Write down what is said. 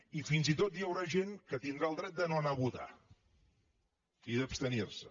i fins i tot hi haurà gent que tindrà el dret de no anar a votar i d’abstenir se